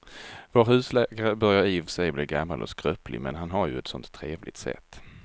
Vår husläkare börjar i och för sig bli gammal och skröplig, men han har ju ett sådant trevligt sätt!